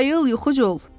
Ayıl yuxucul!